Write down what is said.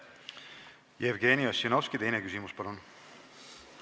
Jevgeni Ossinovski, teine küsimus, palun!